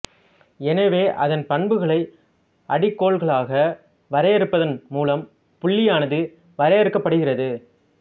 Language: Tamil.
எனவே அதன் பண்புகளை அடிக்கோள்களாக வரையறுப்பதன் மூலம் புள்ளியானது வரையறுக்கப்படுகிறது